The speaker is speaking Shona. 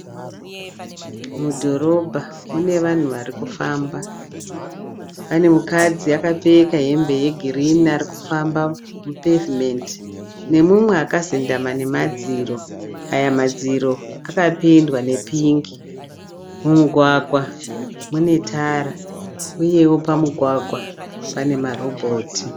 Mudhorobha mune vanhu varikufamba . Pane mukadzi akapfeka hembe ye girinhi arikufamba mu pavement nemumwe akazendama nemadziro, aya madziro akapendwa ne pingi. Mumugwagwa mune tara uyewo pamugwagwa pane ma robhoti.